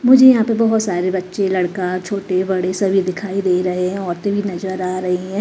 मुझे यहां पे बहोत सारे बच्चे लड़का छोटे बड़े सभी दिखाई दे रहे हैं औरते भी नजर आ रही है।